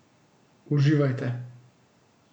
Uživajte!